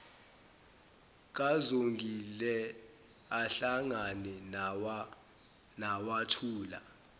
kazongile ahlangana nawathula